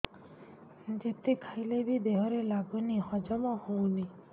ଯେତେ ଖାଇଲେ ବି ଦେହରେ ଲାଗୁନି ହଜମ ହଉନି